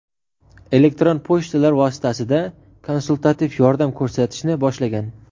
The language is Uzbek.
elektron pochtalar vositasida konsultativ yordam ko‘rsatishni boshlagan.